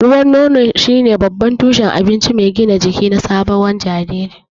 Ruwan nono shine babban tushen abinci mai gina jiki na sabon jariri.